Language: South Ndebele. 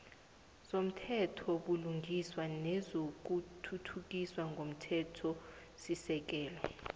wezomthethobulungiswa nezokuthuthukiswa ngomthethosisekelo